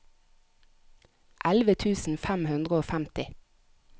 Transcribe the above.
elleve tusen fem hundre og femti